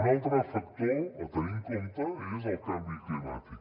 un altre factor a tenir en compte és el canvi climàtic